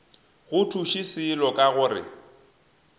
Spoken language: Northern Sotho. go thuše selo ka gore